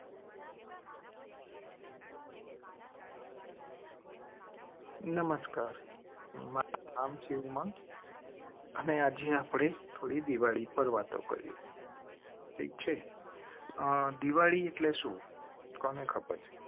નમસ્કાર. મારુ નામ છે ઉમંગ અને આજે આપણે થોડી દિવાળી પર વાતો કરેં. છે. દિવાળી એટલે સુ. કોને ખબર છે